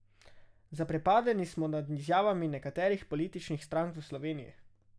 Zaprepadeni smo nad izjavami nekaterih političnih strank v Sloveniji.